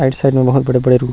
right side में बहुत बड़े-बड़े रूम --